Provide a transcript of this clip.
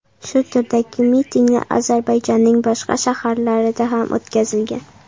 Shu turdagi mitinglar Ozarbayjonning boshqa shaharlarida ham o‘tkazilgan.